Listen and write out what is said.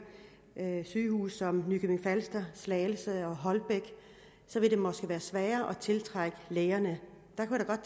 sygehuse som i nykøbing falster slagelse og holbæk vil det måske være sværere at tiltrække lægerne